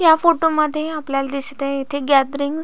या फोटो मध्ये आपल्याला दिसत आहे इथे गॅदरींग--